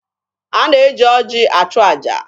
A na-eji oji achụ aja.